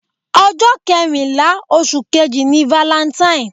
Ọjọ́ kẹrìnlá oṣù kejì ni valentine.